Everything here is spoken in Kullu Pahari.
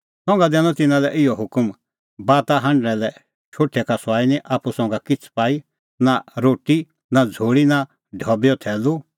संघा दैनअ तिन्नां लै इहअ हुकम बाता हांढणा लै शोठै का सुआई निं आप्पू संघा किछ़ पाई नां रोटी नां झ़ोल़ी नां ढबैओ थैलू